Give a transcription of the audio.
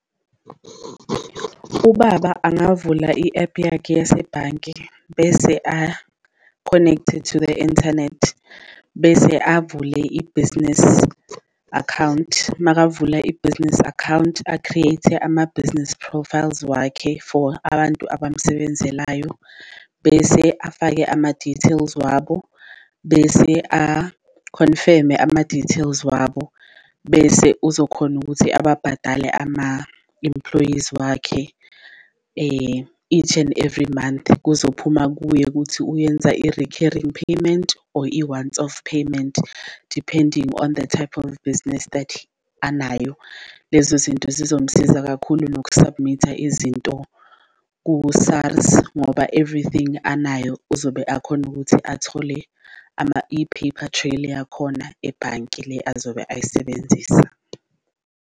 Ubaba angavula i-app yakhe yasebhanke bese a-connect-e to the internet bese avule i-business account, makavula i-business account a-create ama-business profiles wakhe for abantu abamsebenzelayo. Bese afake ama-details wabo, bese a-confirm-e ama-details wabo, bese uzokhona ukuthi ababhadale ama-employees wakhe each and every month kuzophuma kuye kuthi uyenza i-recurring payment or i-once-off payment depending on the type of business that anayo. Lezo zinto zizomsiza mkhulu noku-submit-ha izinto ku-SARS ngoba everything anayo uzobe akhona ukuthi athole i-papertrail yakhona ebhanki le azobe ayisebenzisa.